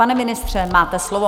Pane ministře, máte slovo.